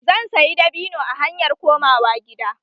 Zan sayi dabino a hanyar komawa gida.